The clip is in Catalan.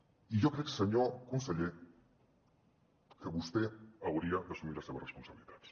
i jo crec senyor conseller que vostè hauria d’assumir les seves responsabilitats